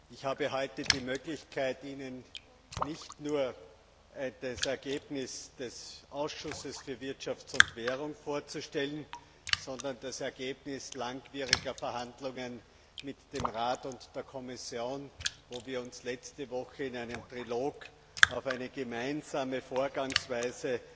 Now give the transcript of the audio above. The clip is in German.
Ich habe heute die Möglichkeit, Ihnen nicht nur das Ergebnis des Ausschusses für Wirtschaft und Währung vorzustellen, sondern das Ergebnis langwieriger Verhandlungen mit dem Rat und der Kommission, wo wir uns letzte Woche in einem Trilog auf eine gemeinsame Vorgangsweise